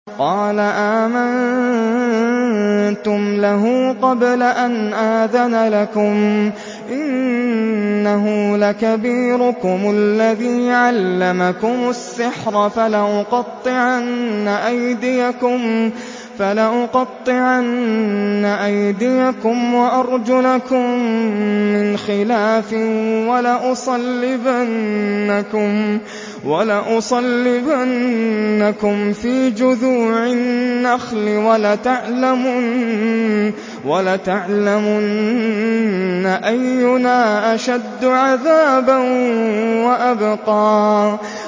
قَالَ آمَنتُمْ لَهُ قَبْلَ أَنْ آذَنَ لَكُمْ ۖ إِنَّهُ لَكَبِيرُكُمُ الَّذِي عَلَّمَكُمُ السِّحْرَ ۖ فَلَأُقَطِّعَنَّ أَيْدِيَكُمْ وَأَرْجُلَكُم مِّنْ خِلَافٍ وَلَأُصَلِّبَنَّكُمْ فِي جُذُوعِ النَّخْلِ وَلَتَعْلَمُنَّ أَيُّنَا أَشَدُّ عَذَابًا وَأَبْقَىٰ